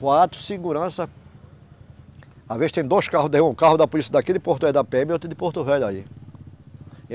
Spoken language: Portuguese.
Quatro, segurança às vezes tem dois carros daí, um carro da polícia daqui, de Porto Velho da pê eme e outro de Porto Velho aí.